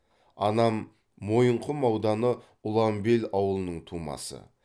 анам мойынқұм ауданы ұланбел ауылының тумасы